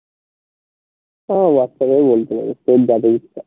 what's up এও বলতে পারিস তোর যাতে ইচ্ছা